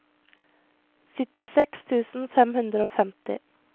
syttiseks tusen fem hundre og femti